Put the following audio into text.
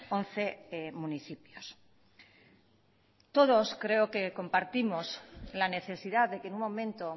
once municipios todos creo que compartimos la necesidad de que en un momento